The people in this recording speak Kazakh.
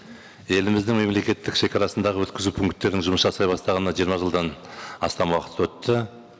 еліміздің мемлекеттік шегарасындағы өткізу пункттерінің жұмыс жасай бастағанына жиырма жылдан астам уақыт өтті